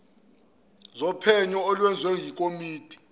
zophenyo olwenziwe yikomidi